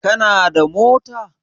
Kana da mota?